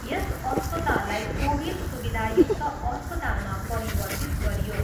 यस अस्पताललाई कोभिड सुविधायुक्त अस्पतालमा परिवर्तित गरियो।